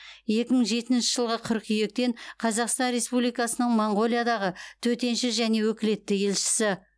екі мың жетінші жылғы қыркүйектен қазақстан республикасының моңғолиядағы төтенше және өкілетті елшісі